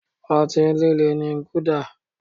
Ọtí líle ni guluda